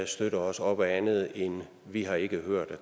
støtte os op ad andet end vi har ikke hørt